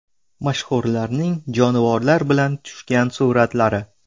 Mashhurlarning jonivorlar bilan tushgan suratlari.